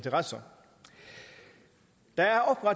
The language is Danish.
altså at